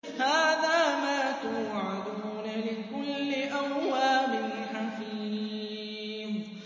هَٰذَا مَا تُوعَدُونَ لِكُلِّ أَوَّابٍ حَفِيظٍ